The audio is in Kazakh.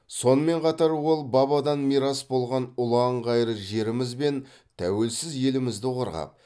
сонымен қатар ол бабадан мирас болған ұлан ғайыр жеріміз бен тәуелсіз елімізді қорғап